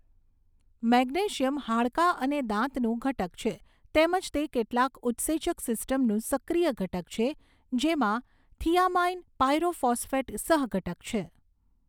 Magnesium હાડકાં અને દાંતનું ઘટક છે તેમજ તે કેટલાક ઉત્સેચક સિસ્ટમનું સક્રિય ઘટક છે જેમાં થિયામાઇન પાયરોફોસ્ફેટ સહઘટક છે.